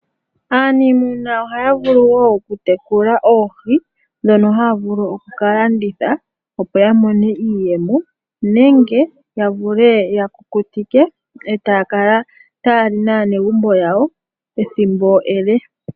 aaniimuna ohaya vulu woo oku tekula oohi, ndhono haya vulu oku ka landitha opo ya mone iiyemo nenge ya vule ya kukutike e taya kala taya li naanegumbo yawo ethimbo ele.